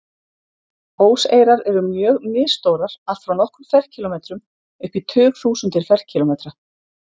Óseyrar eru mjög misstórar, allt frá nokkrum ferkílómetrum upp í tugþúsundir ferkílómetra.